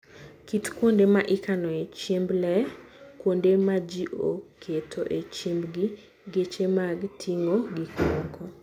Kit kuonde ma ikanoe chiemb le: kuonde ma ji oketoe chiembgi. Geche mag ting'o gik moko.